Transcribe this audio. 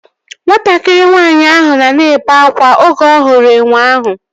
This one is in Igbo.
Nwatakịrị nwaanyị ahụ nọ na-ebe akwa oge ọ hụrụ enwe ahụ